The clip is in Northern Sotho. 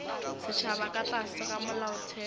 setšhaba ka tlase ga molaotheo